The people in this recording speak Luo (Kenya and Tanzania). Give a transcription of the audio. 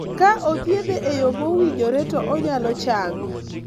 Ka othiedhe e yo mowinjore, to onyalo chango.